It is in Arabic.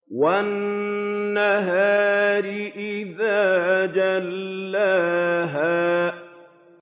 وَالنَّهَارِ إِذَا جَلَّاهَا